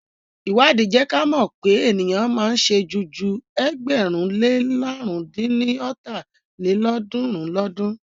Ìwádìí jẹ́ kí à mọ̀ pé ènìyàn máa ń sẹ́jú ju ẹgbẹ̀rún lé làrún dín ní ọ́ta lélọ́ọ̀dúnrún lọ́dun.